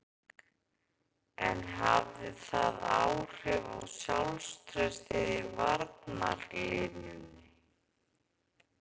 En hafði það áhrif á sjálfstraustið í varnarlínunni?